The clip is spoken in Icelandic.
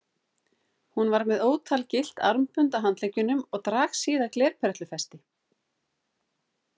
Hún var með ótal gyllt armbönd á handleggjunum og dragsíða glerperlufesti.